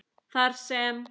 Þar sem